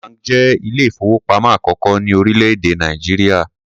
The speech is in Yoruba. First bank jẹ́ ilé-ìfowópamọ́ àkọ́kọ́ ní orílẹ̀-èdè Nàìjíríà.